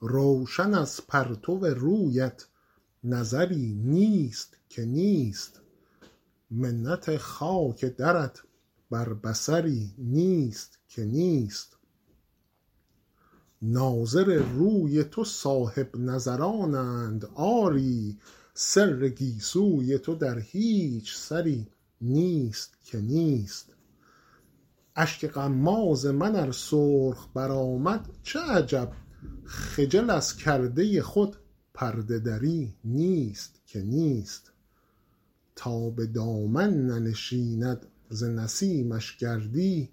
روشن از پرتو رویت نظری نیست که نیست منت خاک درت بر بصری نیست که نیست ناظر روی تو صاحب نظرانند آری سر گیسوی تو در هیچ سری نیست که نیست اشک غماز من ار سرخ برآمد چه عجب خجل از کرده خود پرده دری نیست که نیست تا به دامن ننشیند ز نسیمش گردی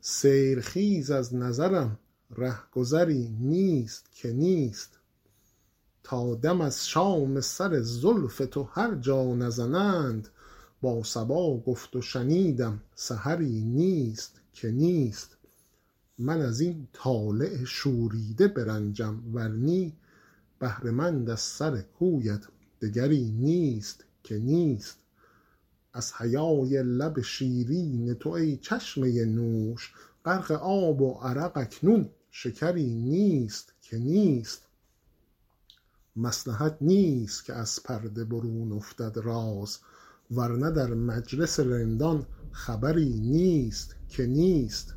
سیل خیز از نظرم ره گذری نیست که نیست تا دم از شام سر زلف تو هر جا نزنند با صبا گفت و شنیدم سحری نیست که نیست من از این طالع شوریده برنجم ور نی بهره مند از سر کویت دگری نیست که نیست از حیای لب شیرین تو ای چشمه نوش غرق آب و عرق اکنون شکری نیست که نیست مصلحت نیست که از پرده برون افتد راز ور نه در مجلس رندان خبری نیست که نیست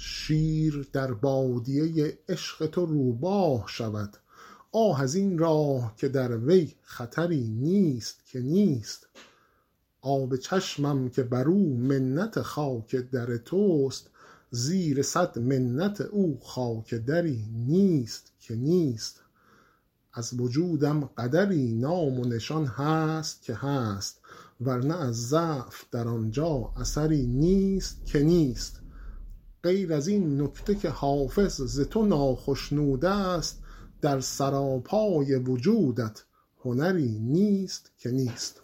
شیر در بادیه عشق تو روباه شود آه از این راه که در وی خطری نیست که نیست آب چشمم که بر او منت خاک در توست زیر صد منت او خاک دری نیست که نیست از وجودم قدری نام و نشان هست که هست ور نه از ضعف در آن جا اثری نیست که نیست غیر از این نکته که حافظ ز تو ناخشنود است در سراپای وجودت هنری نیست که نیست